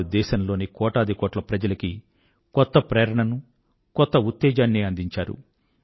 వారు దేశం లోని కోటాదికోట్ల ప్రజలకి కొత్త ప్రేరణనూ కొత్త ఉత్తేజాన్నీ అందించారు